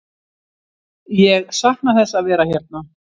Ég sakna þess að vera hérna.